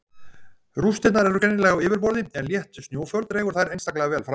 Rústirnar eru greinanlegar á yfirborði en létt snjóföl dregur þær einstaklega vel fram.